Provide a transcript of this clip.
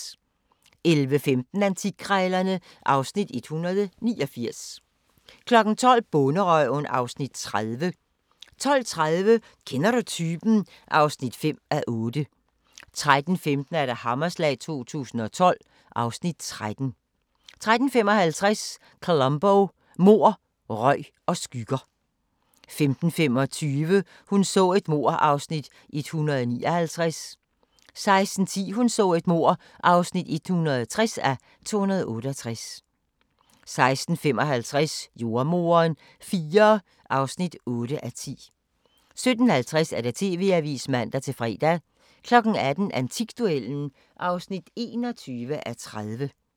11:15: Antikkrejlerne (Afs. 189) 12:00: Bonderøven (Afs. 30) 12:30: Kender du typen? (5:8) 13:15: Hammerslag 2012 (Afs. 13) 13:55: Columbo: Mord, røg og skygger 15:25: Hun så et mord (159:268) 16:10: Hun så et mord (160:268) 16:55: Jordemoderen IV (8:10) 17:50: TV-avisen (man-fre) 18:00: Antikduellen (21:30)